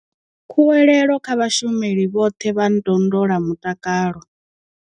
Khuwelelo kha vhashumeli vhoṱhe vha ndondolamutakalo.